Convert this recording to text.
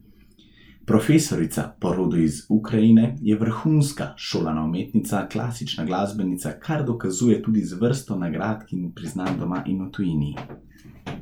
Profesorica, po rodu iz Ukrajine, je vrhunska, šolana umetnica, klasična glasbenica, kar dokazuje tudi z vrsto nagrad in priznanj doma in v tujini.